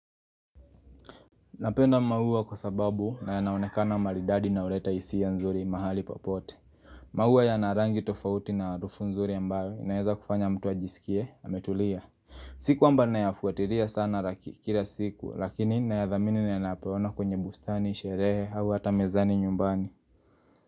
Napenda maua kwa sababu na yanaonekana maridadi na huleta hisia nzuri mahali popote. Maua yana rangi tofauti na harufu nzuri ambayo inaeza kufanya mtu ajisikie, ametulia. Sikwamba nayafuatilia sana kila siku, lakini nayadhamini nainayapoyaona kwenye bustani, sherehe au hata mezani nyumbani.